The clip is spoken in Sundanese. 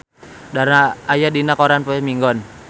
Dara aya dina koran poe Minggon